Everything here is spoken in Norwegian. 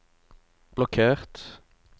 blokkert